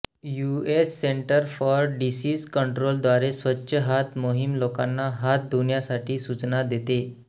US centre for disease control द्वारे स्वच्छ हात मोहीम लोकांना हात धुण्यासाठी सूचना देते